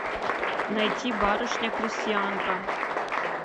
найти барышня крестьянка